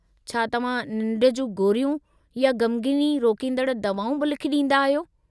छा तव्हां निंढ जी गोरियूं या ग़मगीनी रोकींदड़ दवाऊं बि लिखी ॾींदा आहियो?